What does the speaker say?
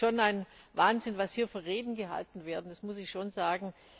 Es ist schon ein Wahnsinn, was hier für Reden gehalten werden, das muss ich schon sagen.